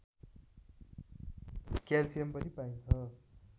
calcium पनि पाइन्छ